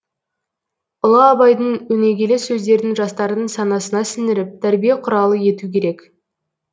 ұлы абайдың өнегелі сөздерін жастардың санасына сіңіріп тәрбие құралы ету керек